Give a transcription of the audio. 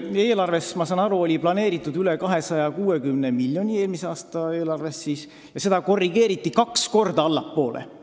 Mulluses eelarves, ma saan aru, oli aktsiise planeeritud veidi üle 260 miljoni ja seda eesmärki korrigeeriti kaks korda väiksemaks,